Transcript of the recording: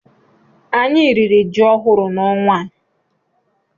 Anyị riri ji ọhụrụ na ọnwa a